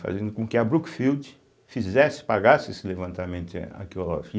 fazendo com que a Brookfield fizesse, pagasse esse levantamento arqueológico.